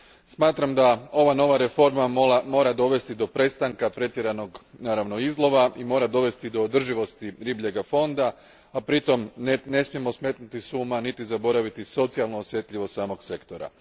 Smatram da ova nova reforma mora dovesti do prestanka pretjeranog, naravno, izlova i mora dovesti do održivosti ribljega fonda, a pritom ne smijemo smetnuti s uma niti zaboraviti socijalnu osjetljivost samog sektora.